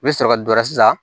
U bɛ sɔrɔ ka dɔ wɛrɛ san